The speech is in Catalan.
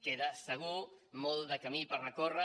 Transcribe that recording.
queda segur molt de camí per recórrer